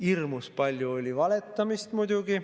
Hirmus palju oli valetamist muidugi.